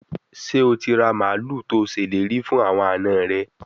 Se o ti ra malu to seleri fun awon ana re?